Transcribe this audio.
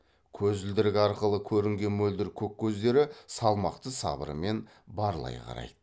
көзілдірік арқылы көрінген мөлдір көк көздері салмақты сабырымен барлай қарайды